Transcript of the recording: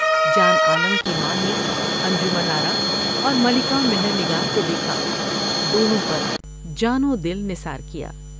جان عالم کی ماں نے انجمن آرا اور ملکہ مہر نگار کو دیکھا ، دونوں پر جان و دل نثار کیا ۔